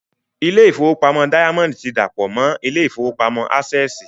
Ilé ìfowópamọ́ dáyámọ́ndì ti dàpọ̀ mọ́ ilé ìfowópamọ́ ásẹ̀sì